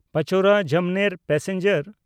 Pachora Jamner passenger